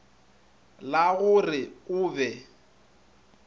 la go re o be